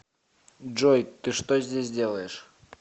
джой ты что здесь делаешь